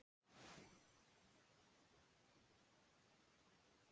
Jökull Jakobsson skrifaði smásögu sem er um margt einkennandi fyrir þennan tíma.